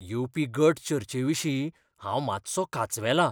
येवपी गट चर्चे विशीं हांव मात्सो कांचवेलां.